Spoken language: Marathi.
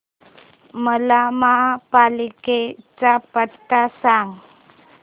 मला महापालिकेचा पत्ता सांग